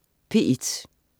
P1: